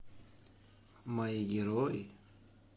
мои герои